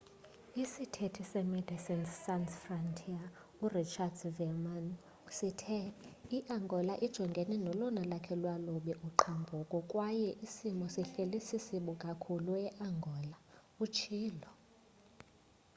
isithethi se medecines sans frontiere urichard veerman sithe iangola ijongene nolona lwakhe lwalubi uqhambuko kwaye isimo sihleli sisibi kakhulu eangola utshilo